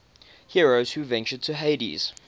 heroes who ventured to hades